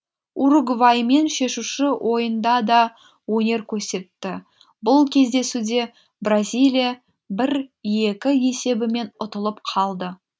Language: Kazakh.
уругваймен шешуші ойында да өнер көрсетті бұл кездесуде бразилия бір екі есебімен ұтылып қалды